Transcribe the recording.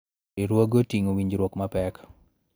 Riwruoge oting�o winjruok mapek